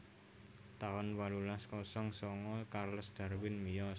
taun wolulas kosong sanga Charles Darwin miyos